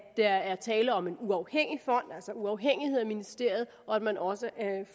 der er tale om en uafhængig fond altså uafhængig af ministeriet og at man også